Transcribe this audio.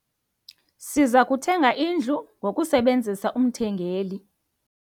Siza kuthenga indlu ngokusebenzisa umthengeli.